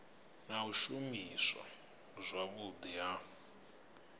na u shumiswa zwavhudi ha